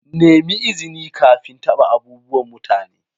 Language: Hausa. Nemi izini kafin taɓa abubuwan mutane.